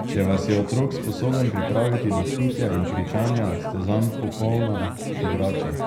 Če vas je otrok sposoben pripraviti do vpitja in kričanja, ste zanj popolna igrača!